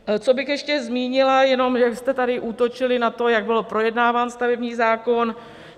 Co bych ještě zmínila, jenom jak jste tady útočili na to, jak byl projednáván stavební zákon.